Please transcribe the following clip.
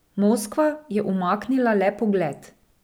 Moskva je umaknila le pogled.